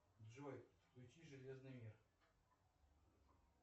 джой включи железный мир